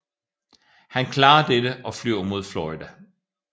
Han klarer dette og flyver mod Florida